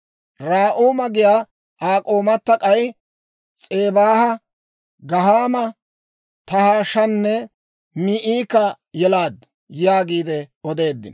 Raa'uma giyaa Aa k'oomata k'ay S'ebaaha, Gahaama, Tahaashanne Maa'ika yelaaddu» yaagiide odeeddino.